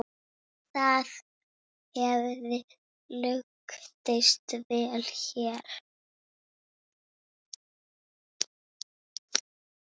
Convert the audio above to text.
Það hefði lukkast vel hér.